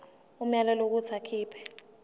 umyalelo wokuthi akhipha